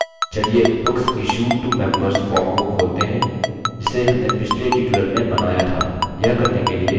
चलिए books issued to members form को खोलते हैं जिसे हमने पिछले tutorial में बनाया था